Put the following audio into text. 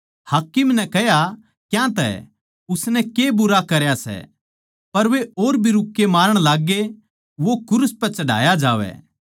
हाकिम नै कह्या क्यांतै उसनै के बुरा करया सै पर वे और भी रूक्के मारण लाग्गे वो क्रूस पै चढ़ाया जावै